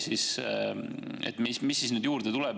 Mis juurde tuleb?